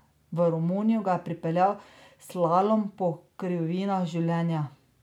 V Romunijo ga je pripeljal slalom po krivinah življenja.